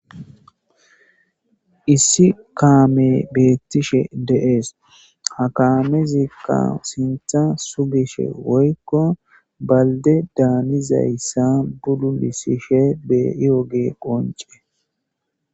Issi kaame beettishe deees ha kaamezikka sintha sugishe woykko balde daanizayssa buddunisishe beyooge qonce.